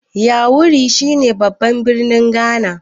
yawuri shi ne babban birnin Ghana